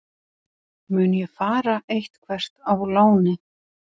Mun ég fara eitthvert á láni?